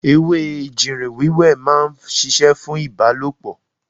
Ewé ejìrìn wẹ́wẹ́ ma ń ṣiṣẹ́ fún ìbálòpọ̀.